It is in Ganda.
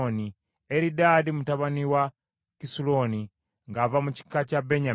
Eridaadi mutabani wa Kisuloni ng’ava mu kika kya Benyamini.